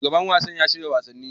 Shugaban wasan yana shirya wasanni.